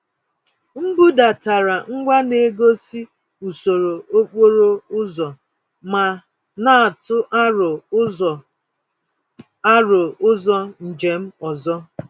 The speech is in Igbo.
M budatara ngwa na-egosi usoro okporo ụzọ ma na-atụ aro ụzọ aro ụzọ njem ọzọ.